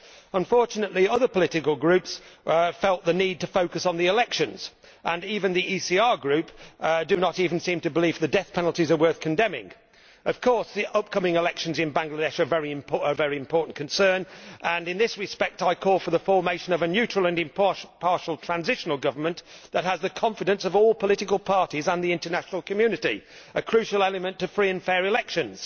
Unfortunately, other political groups felt the need to focus on the elections, and the ECR Group does not even seem to believe that the death penalties are worth condemning. Of course, the upcoming elections in Bangladesh are a very important concern and, in this respect, I call for the formation of a neutral and impartial transitional government that has the confidence of all political parties and the international community a crucial element to free and fair elections.